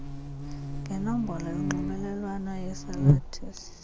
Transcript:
ngenombolo yonxibelelwano yesalathisi